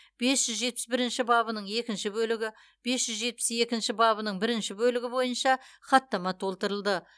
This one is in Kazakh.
бес жүз жетпіс бірінші бабының екінші бөлігі бес жүз жетпіс екінші бабының бірінші бөлігі бойынша хаттама толтырылды